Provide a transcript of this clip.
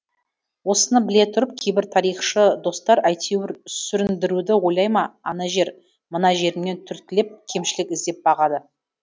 осыны біле тұрып кейбір тарихшы достар әйтеуір сүріндіруді ойлай ма ана жер мына жерімнен түрткілеп кемшілік іздеп бағады